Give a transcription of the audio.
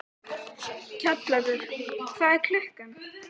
Kjallakur, hvað er klukkan?